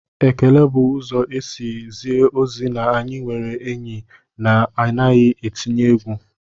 Ekele bụ ụzọ isi zie ozi na anyị nwere enyi na anaghị etinye egwu